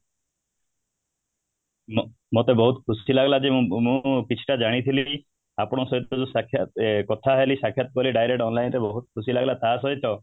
ମା ମତେ ବହୁତ ଖୁସି ଲାଗିଲା କି ମୁଁ ମୁଁ କିଛି ଟା ଜାଣିଥିଲି ଆପଣଙ୍କ ସହିତ ଯୋଉ ସାକ୍ଷାତ ୟେ କଥା ହେଲି ସାକ୍ଷାତ କଲି direct online ରେ ତ ବହୁତ ଖୁସି ଲାଗିଲା ତାସହିତ